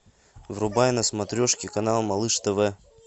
врубай на смотрешке канал малыш тв